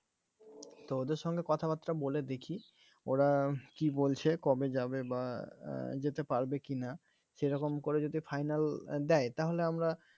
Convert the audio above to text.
তো ওদের সঙ্গে কথাবার্তা বলে দেখি ওরা কী বলছে কবে যাবে বা যেতে পারবে কিনা সে রকম করে যদি final দেয় তাহলে আমরা